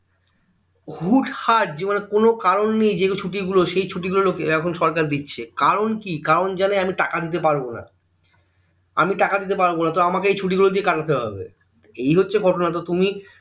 হুট্ হাট যে মানে কোনো কারণ নেই যে গুলো ছুটি গুলোর সেই ছুটি গুলো এখন সরকার দিচ্ছে কারণ কি কোন জানে আমি টাকা দিতে পারবো না আমি টাকা দিতে পারবো না তো আমাকে এই ছুটি গুলো দিয়ে কাটাতে হবে এই হচ্ছ তুমি